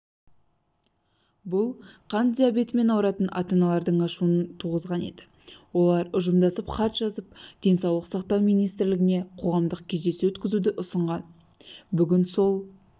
бұл қант диабетімен ауыратын ата-аналардың ашуын туғызған еді олар ұжымдасып хат жазып денсаулық сақтау министріне қоғамдық кездесу өткізуді ұсынған бүгін сол